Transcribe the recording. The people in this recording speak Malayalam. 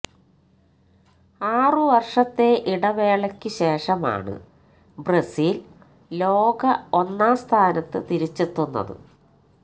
ആറുവർഷത്തെ ഇടവേളയ്ക്കു ശേഷമാണ് ബ്രസീൽ ലോക ഒന്നാം സ്ഥാനത്ത് തിരിച്ചെത്തുന്നത്